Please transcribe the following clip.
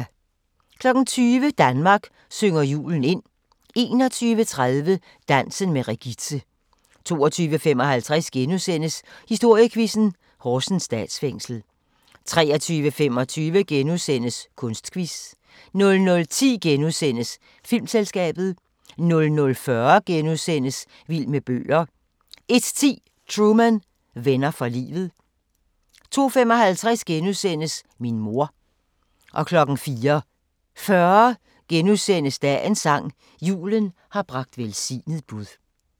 20:00: Danmark synger julen ind 21:30: Dansen med Regitze 22:55: Historiequizzen: Horsens Statsfængsel * 23:25: Kunstquiz * 00:10: Filmselskabet * 00:40: Vild med bøger * 01:10: Truman: Venner for livet 02:55: Min mor * 04:40: Dagens sang: Julen har bragt velsignet bud *